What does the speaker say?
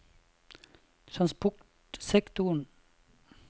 transportsektoren